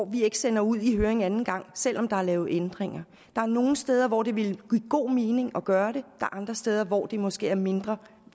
vi ikke sender ud i høring anden gang selv om der er lavet ændringer der er nogle steder hvor det ville give god mening at gøre det og andre steder hvor det måske er mindre